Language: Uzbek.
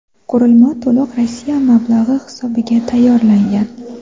Qurilma to‘liq Rossiya mablag‘i hisobiga tayyorlangan.